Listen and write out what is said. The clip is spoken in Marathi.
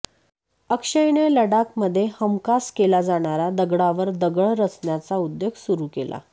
अक्षयने लडाख मध्ये हमखास केला जाणारा दगडावर दगड रचण्याचा उद्योग सुरू केला